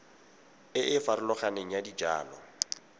e e farologaneng ya dijalo